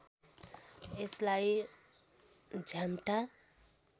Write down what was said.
यसलाई झ्याम्टा